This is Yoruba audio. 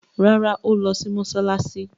Rárá, ó lọ sí mọsálásí